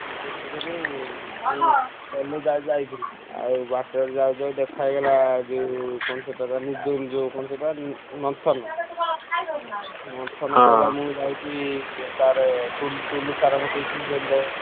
ଆଉ ଆଉ ମୁଁ ତ ଆଜି ଯାଇଥିଲି ଆଉ ବାଟରେ ଯାଉ ଯାଉ ଦେଖାହେଇଗଲା ଯୋଉ କଣ ସେଇଟା କଣ ସେଇଟା ମନ୍ଥନ ମନ୍ଥନ କହିଲା ମୁଁ ଯାଉଛି ଇଏ sir ଟୁଲୁ ଟୁଲୁ sir ଙ୍କ କତିକି tuition ଯା~ ।